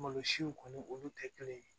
Malo siw kɔni olu tɛ kelen ye